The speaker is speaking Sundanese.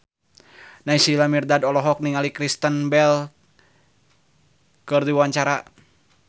Naysila Mirdad olohok ningali Kristen Bell keur diwawancara